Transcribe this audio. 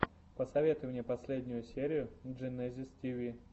посоветуй мне последнюю серию дженезис тиви